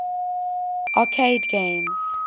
arcade games